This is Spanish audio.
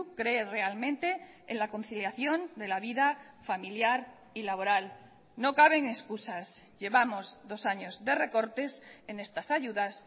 cree realmente en la conciliación de la vida familiar y laboral no caben excusas llevamos dos años de recortes en estas ayudas